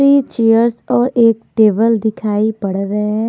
Three chairs और एक table दिखाई पड़ रहें हैं।